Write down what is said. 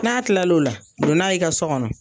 N'a kilal'o la don n'a ye i ka sɔ kɔnɔ